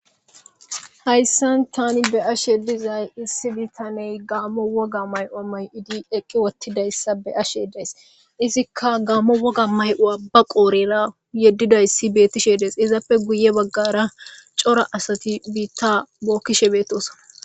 Hayssan Tani be'ashshe dizay issi bittaney gammo wogga ma'uwa may'idi eqqi wotiidayssa be'ashshe days izikka gammo wogga ma'uwa ba qodhdhera yedidayssi betiishshe dees izappe guye baggara cora assati bitta bokishshe betoosoona